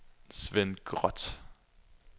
Sven Groth